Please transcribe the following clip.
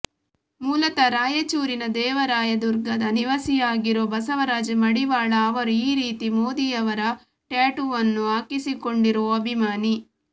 ಮೂಲತಃ ರಾಯಚೂರಿನ ದೇವರಾಯದುರ್ಗದ ನಿವಾಸಿಯಾಗಿರೋ ಬಸವರಾಜ್ ಮಡಿವಾಳ ಅವರು ಈ ರೀತಿ ಮೋದಿ ಅವರ ಟ್ಯಾಟೂವನ್ನು ಹಾಕಿಸಿಕೊಂಡಿರೋ ಅಭಿಮಾನಿ